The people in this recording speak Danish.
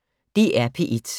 DR P1